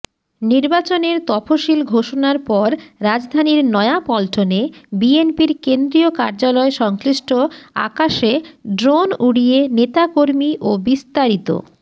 নির্বাচনের তফসিল ঘোষণার পর রাজধানীর নয়াপল্টনে বিএনপির কেন্দ্রীয় কার্যালয় সংশ্লিষ্ট আকাশে ড্রোন উড়িয়ে নেতাকর্মী ওবিস্তারিত